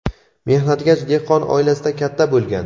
mehnatkash dehqon oilasida katta bo‘lgan.